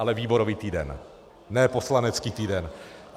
Ale výborový týden, ne poslanecký týden.